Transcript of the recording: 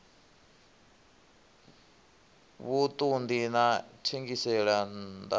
vhuṱun ḓi na thengiselonn ḓa